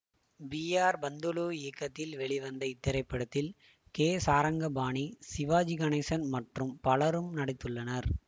B R Panthulu இயக்கத்தில் வெளிவந்த இத்திரைப்படத்தில் கே சாரங்கபாணி சிவாஜி கணேசன் மற்றும் பலரும் நடித்துள்ளனர்